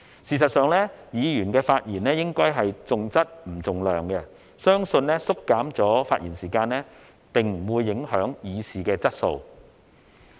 事實上，議員的發言應該重質不重量，相信縮減發言時間並不會影響議事的質素。